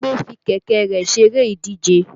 Bímpé fi kẹ̀kẹ́ rẹ̀ ṣeré ìdíje